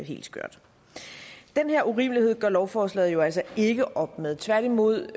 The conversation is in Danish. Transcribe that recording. helt skørt og den urimelighed gør lovforslaget jo altså ikke op med tværtimod